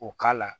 O k'a la